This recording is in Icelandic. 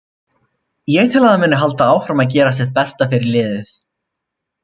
Ég tel að hann muni halda áfram að gera sitt besta fyrir liðið.